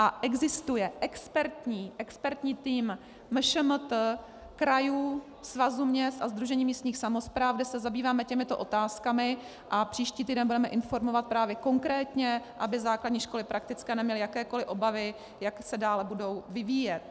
A existuje expertní tým MŠMT krajů, svazů měst a sdružení místních samospráv, kde se zabýváme těmito otázkami, a příští týden budeme informovat právě konkrétně, aby základní školy praktické neměly jakékoli obavy, jak se dále budou vyvíjet.